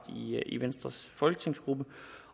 i venstres folketingsgruppe